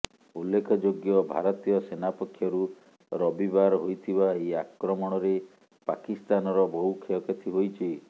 ଉଲ୍ଲେଖଯୋଗ୍ୟ ଭାରତୀୟ ସେନା ପକ୍ଷରୁ ରବିବାର ହୋଇଥିବା ଏହି ଆକ୍ରମଣରେ ପାକିସ୍ତାନର ବହୁ କ୍ଷୟକ୍ଷତି ହୋଇଛି